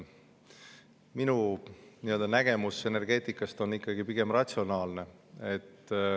Minu nägemus energeetikast on ikkagi pigem ratsionaalne.